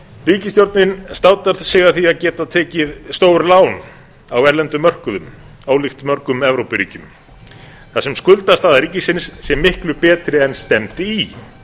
ríkisstjórnin státar sig af því að geta tekið stór lán á erlendum mörkuðum blik mörgum evrópuríkjum þar sem skuldastaða ríkisins er miklu betri en stefndi í